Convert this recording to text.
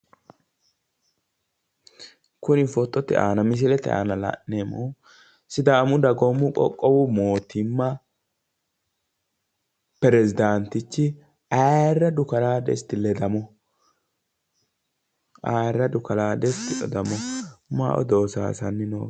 Kuri fotote aana misilete aana la'neemmohu sidaamu dagoomu qoqqowu mootimma perezdaantichi ayirradu kalaa desti ledamoho. Ayirradu kalaa desti ledamoho. Mayi odoo sayisanni no?